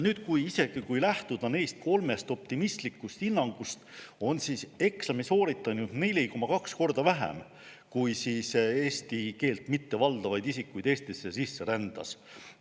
Isegi kui lähtuda neist kolmest optimistlikust hinnangust, oli eksami sooritanuid 4,2 korda vähem, kui eesti keelt mittevaldavaid isikuid Eestisse sisse rändas.